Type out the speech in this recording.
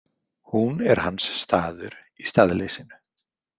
Hún er hans staður í staðleysinu.